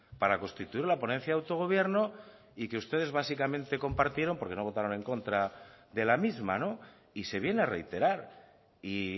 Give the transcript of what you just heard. para constituir la ponencia de autogobierno y que ustedes básicamente compartieron porque no votaron en contra de la misma y se viene a reiterar y